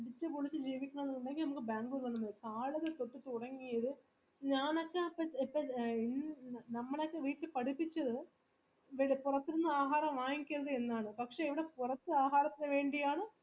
അടിച്ചുപൊളിച് ജീവിക്കണം ന്ന് ഇന്ടെങ്ങി Bangalore വന്ന മതി നമ്മളക്കെ വീട്ടീന്ന് പഠിപ്പിച്ച പുറത്തന്ന ആഹാരം വാങ്ങിക്കരത് എന്നാണ് പക്ഷെ ഇവിടെ പോറത്ത ആഹാരത്തിന് വേണ്ടിയാണ് അതാണ്